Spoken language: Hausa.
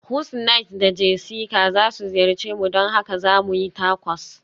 Husniat da Jessica za su ziyarce mu, don haka za mu yi Tacos.